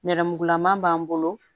Nɛrɛmugulama b'an bolo